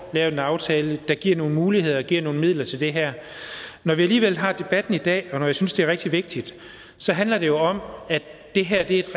lavet en aftale der giver nogle muligheder og giver nogle midler til det her når vi alligevel har debatten i dag og når jeg synes det er rigtig vigtigt så handler det jo om at det her er et